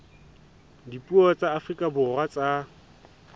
dipuo tsa afrika borwa tsa